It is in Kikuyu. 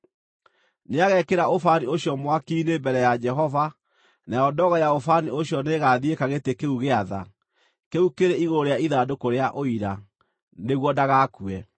Nĩagekĩra ũbani ũcio mwaki-inĩ mbere ya Jehova, nayo ndogo ya ũbani ũcio nĩĩgathiĩka gĩtĩ kĩu gĩa tha, kĩu kĩrĩ igũrũ rĩa ithandũkũ rĩa Ũira, nĩguo ndagakue.